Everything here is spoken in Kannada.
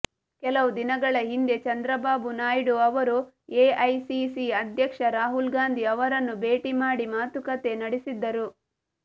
ಕೆಲವು ದಿನಗಳ ಹಿಂದೆ ಚಂದ್ರಬಾಬು ನಾಯ್ಡು ಅವರು ಎಐಸಿಸಿ ಅಧ್ಯಕ್ಷ ರಾಹುಲ್ ಗಾಂಧಿ ಅವರನ್ನು ಭೇಟಿ ಮಾಡಿ ಮಾತುಕತೆ ನಡೆಸಿದ್ದರು